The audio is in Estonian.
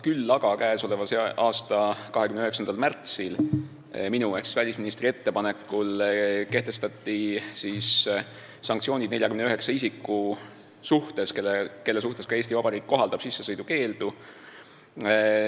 Küll aga kehtestati eelmise aasta 29. märtsil minu ehk välisministri ettepanekul sanktsioonid 49 isiku suhtes, kelle suhtes ka Eesti Vabariik kohaldab sissesõidukeeldu.